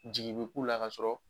Jigin bi k'u la ka sɔrɔ